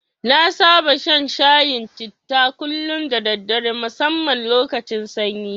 Na saba shan shayin citta kullum da daddare musamman lokacin sanyi.